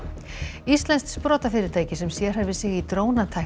íslenskt sprotafyrirtæki sem sérhæfir sig í drónatækni